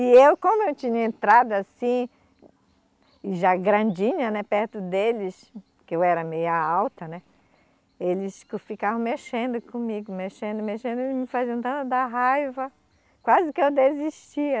E eu, como eu tinha entrado assim, já grandinha, né, perto deles, que eu era meia alta, né, eles ficavam mexendo comigo, mexendo, mexendo, e me faziam tanta da raiva, quase que eu desistia.